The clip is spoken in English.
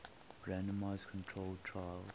randomized controlled trials